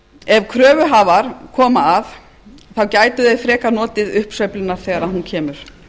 ef kröfuhafar koma að gætu þeir frekar notið uppsveiflunnar þegar hún kemur